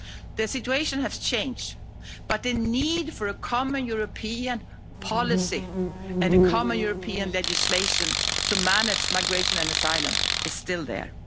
The situation has changed, but the need for a common European policy and common European legislation to manage migration and asylum is still there.